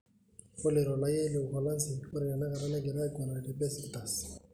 Ore ilo raia le Uholanzi ore tenakata negira aiguranaki Besiktas.